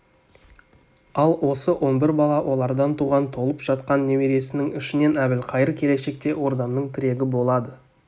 ал осы он бір бала олардан туған толып жатқан немересінің ішінен әбілқайыр келешекте ордамның тірегі болады